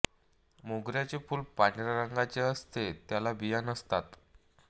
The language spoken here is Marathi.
मोगऱ्याचे फूल पांढऱ्या रंगाचे असते त्याला बिया नसतात